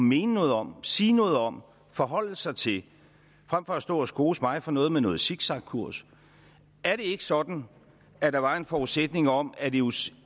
mene noget om sige noget om forholde sig til frem for at stå og skose mig for noget med noget zigzagkurs er det ikke sådan at der var en forudsætning om at eus